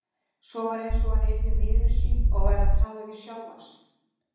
Svo var eins og hann yrði miður sín og væri að tala við sjálfan sig.